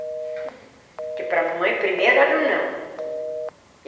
Porque para a mamãe, primeiro era o não.